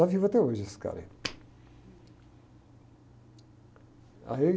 Está vivo até hoje esse cara aí.